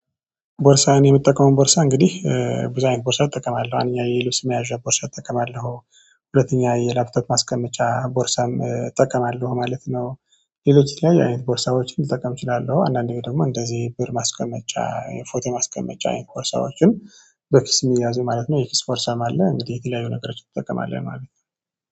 ቦርሳህን የምትጠቀመው ቦርሳ እንግዲህ ብዛይን ቦርሳ ጠቀማለሁ እኛ የልብስ መያዣ ቦርሳ እጠቀማለሁ ሁለተኛ የላፕቶፕ ማስቀመጫ ቦርሳም እጠቀማለሁ ማለት ነው። ይሄ ለቺት ላይ አይነት ቦርሳዎችን ልጠቀም እችላለሁ። አንዳንዴ ደግሞ እንደዚህ ብር ማስቀመጫ ፎቶ ማስቀመጫ ቦርሳዎችን በኪስ የሚያዙ ማለት ነው። የኪስ ቦርሳም አለ የት ላይ የሆነ ነገር ይጠቀማል የማለት ነው